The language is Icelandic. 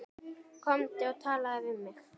Komdu og talaðu við mig